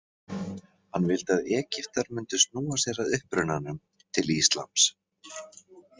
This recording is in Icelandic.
Hann vildi að Egyptar mundu snúa sér að upprunanum, til íslams.